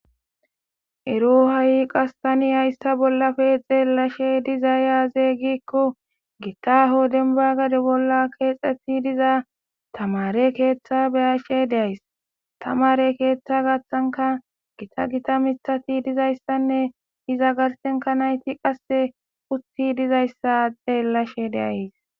Ero ha'i qastani hayssa bollafe xeellashe diza yaazey gikko gitaho denbagade bolla keexeti diza tamare keeththa beyashe deays tamare keeththa gaththanka gita gita mitati dizayssanne iza garsenka nayti qasse usti dizayssa xeellashe deays.